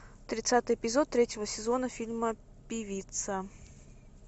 тридцатый эпизод третьего сезона фильма певица